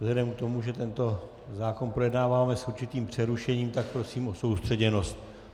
Vzhledem k tomu, že tento zákon projednáváme s určitým přerušením, tak prosím o soustředěnost.